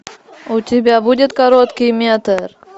у тебя будет короткий метр